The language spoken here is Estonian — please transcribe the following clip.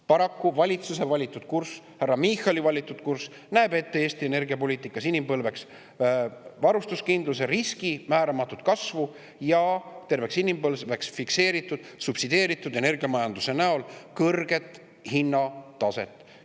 Paraku valitsuse valitud kurss, härra Michali valitud kurss, näeb ette Eesti energiapoliitikas terveks inimpõlveks varustuskindluse riski määramatut kasvu ja terveks inimpõlveks fikseeritud subsideeritud energiamajanduse tõttu kõrget hinnataset.